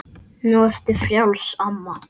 Nú ertu frjáls, amma.